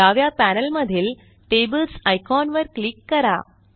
डाव्या पॅनेलमधील tables icon वर क्लिक करा